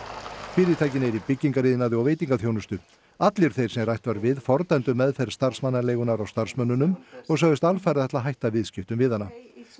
fyrirtækin eru í byggingariðnaði og veitingaþjónustu allir þeir sem rætt var við fordæmdu meðferð starfsmannaleigunnar á starfsmönnunum og sögðust alfarið ætla að hætta viðskiptum við hana